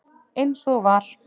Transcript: Eins og var.